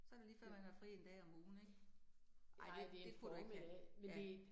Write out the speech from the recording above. Så det lige før man har fri 1 dag om ugen ik. Nej det kunne du ikke have. Ja